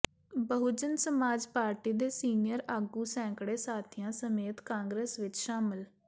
Bahujan Samaj party ਦੇ senior ਆਗੂ ਸੈਂਕੜੇ ਸਾਥੀਆ ਸਮੇਤ ਕਾਂਗਰਸ ਵਿਚ ਸ਼ਾਮਲ